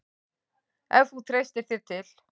Ef þú treystir þér til.